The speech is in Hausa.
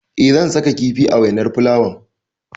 Eh zan saka kifi a wainar fulawan.